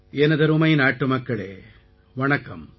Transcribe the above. எனதருமை நாட்டுமக்களே வணக்கம்